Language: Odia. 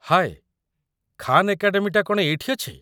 ହାଏ, ଖାନ୍ ଏକାଡେମୀଟା କ'ଣ ଏଇଠି ଅଛି?